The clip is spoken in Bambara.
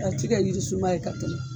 A ti kɛ yisunba ye ka tɛmɛ